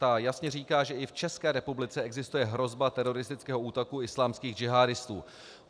Ta jasně říká, že i v České republice existuje hrozba teroristického útoku islámských džihádistů.